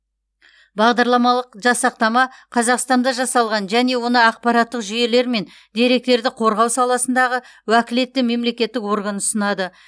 бағдарламалық жасақтама қазақстанда жасалған және оны ақпараттық жүйелер мен деректерді қорғау саласындағы уәкілетті мемлекеттік орган ұсынады